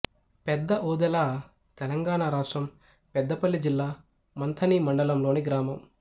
పెద్ద ఓదెల తెలంగాణ రాష్ట్రం పెద్దపల్లి జిల్లా మంథని మండలంలోని గ్రామం